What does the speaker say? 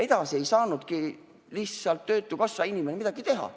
Edasi ei saanudki töötukassa inimene midagi teha.